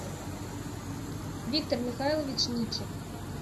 виктор михайлович ничик